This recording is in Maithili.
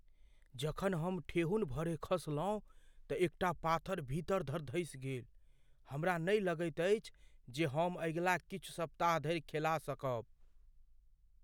जखन हम ठेहुन भरे खसलहुँ तँ एकटा पाथर भीतर धरि धँसि गेल। हमरा नहि लगैत अछि जे हम अगिला किछु सप्ताह धरि खेला सकब।